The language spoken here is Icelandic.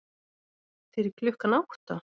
Fyrir klukkan átta?